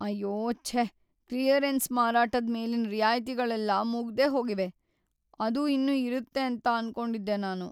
ಅಯ್ಯೋ ಛೇ! ಕ್ಲಿಯರೆನ್ಸ್ ಮಾರಾಟದ್ ಮೇಲಿನ್ ರಿಯಾಯಿತಿಗಳೆಲ್ಲ ಮುಗ್ದೇಹೋಗಿವೆ, ಅದು ಇನ್ನು ಇರುತ್ತೆ ಅಂತ ಅನ್ಕೊಂಡಿದ್ದೆ ನಾನು.